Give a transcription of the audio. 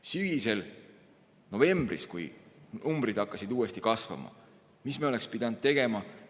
Sügisel novembris, kui numbrid hakkasid uuesti kasvama, mis me oleks pidanud tegema?